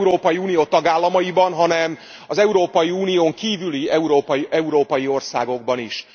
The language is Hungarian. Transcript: Nem csak az Európai Unió tagállamaiban, hanem az Európai Unión kívüli európai országokban is.